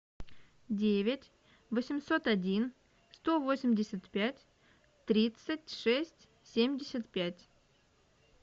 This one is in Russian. девять восемьсот один сто восемьдесят пять тридцать шесть семьдесят пять